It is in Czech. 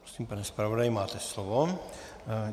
Prosím, pane zpravodaji, máte slovo.